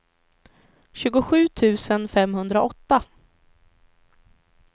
tjugosju tusen femhundraåtta